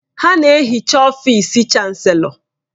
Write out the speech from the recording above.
Ha na-ehicha ọfịsị Chanselọ.